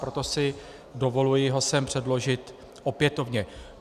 Proto si dovoluji ho sem předložit opětovně.